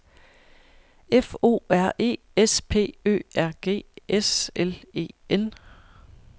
F O R E S P Ø R G S L E N